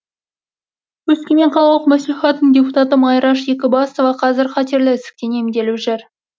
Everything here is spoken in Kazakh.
өскемен қалалық мәслихатының депутаты майраш екібасова қазір қатерлі ісіктен емделіп жүр